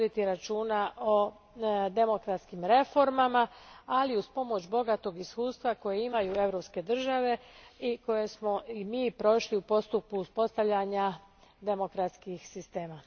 računa o demokratskim reformama, ali uz pomoć bogatog iskustva koje imaju europske države i koje smo i mi prošli u postupku uspostavljanja demokratskih sistema.